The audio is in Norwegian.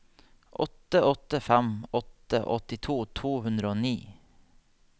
åtte åtte fem åtte åttito to hundre og ni